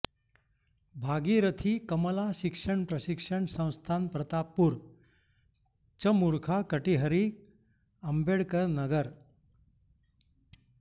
भागीरथी कमला शिक्षण प्रशिक्षण संस्थान प्रतापपुर चमुर्खा कटिहरी अम्बेडकरनगर